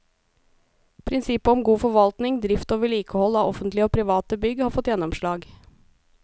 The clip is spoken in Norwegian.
Prinsippet om god forvaltning, drift og vedlikehold av offentlige og private bygg har fått gjennomslag.